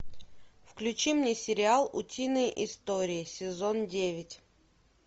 включи мне сериал утиные истории сезон девять